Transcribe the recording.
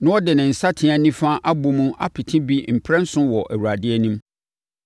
na ɔde ne nsateaa nifa abɔ mu apete bi mprɛnson wɔ Awurade anim.